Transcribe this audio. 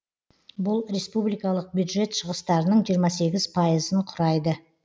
бұл республикалық бюджет шығыстарының жиырма сегіз пайызын құрайды